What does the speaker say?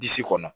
Disi kɔnɔ